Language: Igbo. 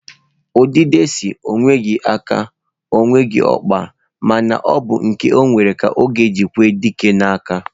Udide si, onweghi aka, onweghi okpa ma na obu nke onwere ka oji ekwe dike na-aka.